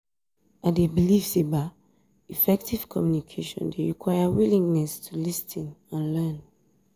i dey believe say effective communication dey require willingness to lis ten and learn.